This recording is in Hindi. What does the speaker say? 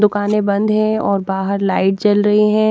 दुकानें बंद है और बाहर लाइट जल रही है।